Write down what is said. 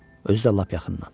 Özü də lap yaxından.